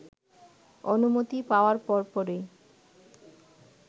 অনুমতি পাওয়ার পরপরই